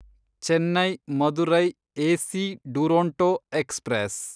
Chennai Madurai AC Duronto express